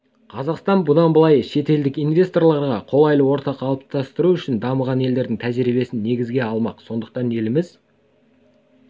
қазақстан бұдан былай шетелдік инвесторларға қолайлы орта қалыптастыру үшін дамыған елдердің тәжірибесін негізге алмақ сондықтан еліміз